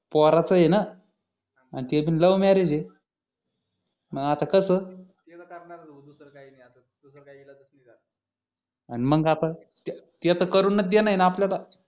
पोराचं हे ना आणि ते पण love marriage हे मग आता कस मग आता ते तर करूनच देणं ये न